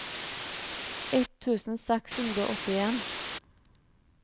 ett tusen seks hundre og åttien